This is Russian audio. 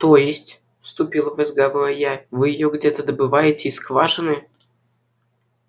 то есть вступила в разговор я вы её где-то добываете из скважины